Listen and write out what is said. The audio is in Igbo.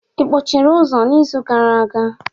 Ị kpọchiri ụzọ n'izu gara aga?